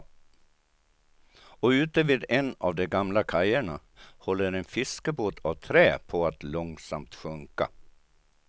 Och ute vid en av de gamla kajerna håller en fiskebåt av trä på att långsamt sjunka.